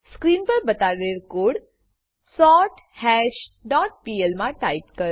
screen પર બતાડેલ code સોર્થશ ડોટ પીએલ મા ટાઈપ કરો